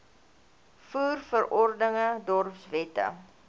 voer verordeninge dorpswette